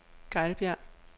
Gejlbjerg